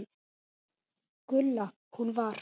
Gulla. hún var.